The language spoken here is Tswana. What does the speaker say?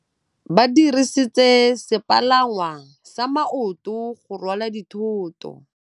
Ba dirisitse sepalangwasa maotwana go rwala dithôtô.